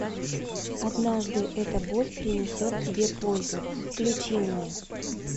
однажды эта боль принесет тебе пользу включи мне